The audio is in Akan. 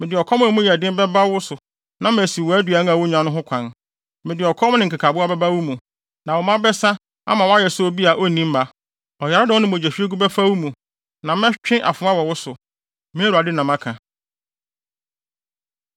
Mede ɔkɔm ne nkekaboa bɛba wo mu, na wo mma bɛsa ama woayɛ sɛ obi a na onni mma. Ɔyaredɔm ne mogyahwiegu bɛfa wo mu, na mɛtwe afoa wɔ wo so. Me Awurade na maka.”